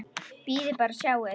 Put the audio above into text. Bíðið bara og sjáið!